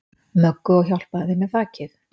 Möggu og hjálpaði þeim með þakið.